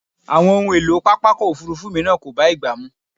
Àwọn ohun èlò pápákọ̀ òfúrúfú mìíràn kò bá ìgbà mu.